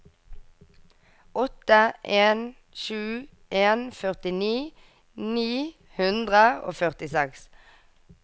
åtte en sju en førtini ni hundre og førtiseks